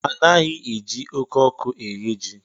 Anaghị eji oké ọkụ eye ji.